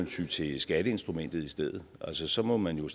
ty til skatteinstrumentet i stedet altså så må man jo